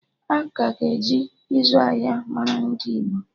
Aka ga-eji izu ahịa mara ndị Igbo